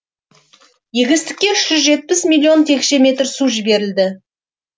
егістікке үш жүз жетпіс миллион текше метр су жіберілді